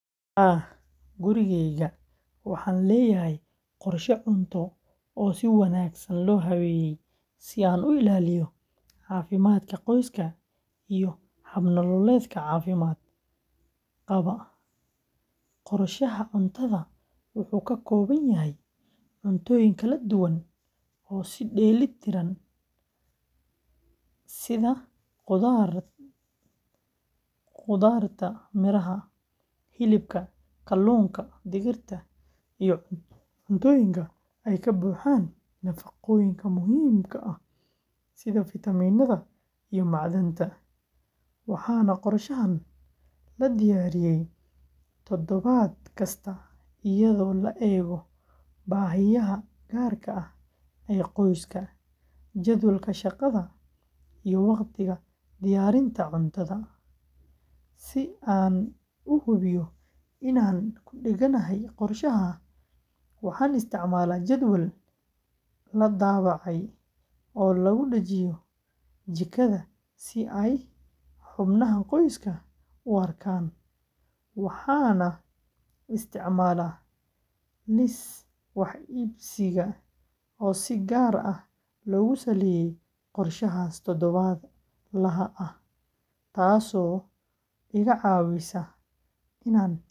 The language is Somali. Haa, gurigayga waxaan leeyahay qorshe cunto oo si wanaagsan loo habeeyey si aan u ilaaliyo caafimaadka qoyska iyo hab-nololeedka caafimaad qaba; qorshaha cuntadu wuxuu ka kooban yahay cuntooyin kala duwan oo isku dheellitiran sida khudradda, miraha, hilibka, kalluunka, digirta, iyo cuntooyinka ay ka buuxaan nafaqooyinka muhiimka ah sida fitamiinada iyo macdanta, waxaana qorshahan la diyaariyaa toddobaad kasta iyadoo la eegayo baahiyaha gaarka ah ee qoyska, jadwalka shaqada, iyo waqtiga diyaarinta cuntada; si aan u hubiyo inaan ku dhegganahay qorshaha, waxaan isticmaalaa jadwal la daabacay oo lagu dhejiyo jikada si ay xubnaha qoyska u arkaan, waxaana isticmaalaa liis wax iibsiga oo si gaar ah loogu saleeyay qorshahaas toddobaadlaha ah, taas oo iga caawisa inaan ka fogaado iibka cuntooyinka.